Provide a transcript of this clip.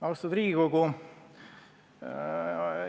Austatud Riigikogu!